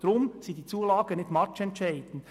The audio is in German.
Daher sind die Zulagen nicht matchentscheidend.